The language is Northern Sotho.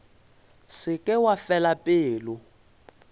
se ke wa fela pelo